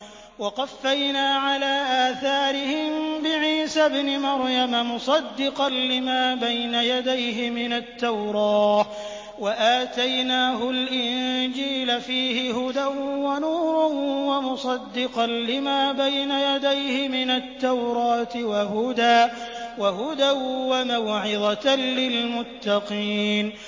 وَقَفَّيْنَا عَلَىٰ آثَارِهِم بِعِيسَى ابْنِ مَرْيَمَ مُصَدِّقًا لِّمَا بَيْنَ يَدَيْهِ مِنَ التَّوْرَاةِ ۖ وَآتَيْنَاهُ الْإِنجِيلَ فِيهِ هُدًى وَنُورٌ وَمُصَدِّقًا لِّمَا بَيْنَ يَدَيْهِ مِنَ التَّوْرَاةِ وَهُدًى وَمَوْعِظَةً لِّلْمُتَّقِينَ